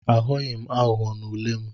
Aghọghị m aghụghọ n'ule m.